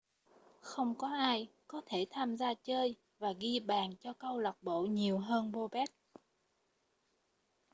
không có ai có thể tham gia chơi và ghi bàn cho câu lạc bộ nhiều hơn bobek